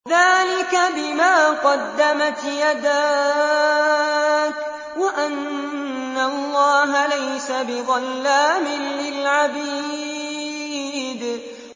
ذَٰلِكَ بِمَا قَدَّمَتْ يَدَاكَ وَأَنَّ اللَّهَ لَيْسَ بِظَلَّامٍ لِّلْعَبِيدِ